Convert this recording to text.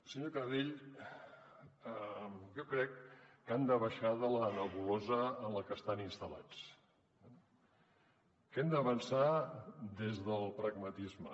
senyor canadell jo crec que han de baixar de la nebulosa en la que estan installats que hem d’avançar des del pragmatisme